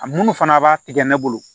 A munnu fana b'a tigɛ ne bolo